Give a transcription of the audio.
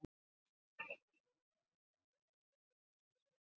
Drengirnir létu ekki segja sér það tvisvar.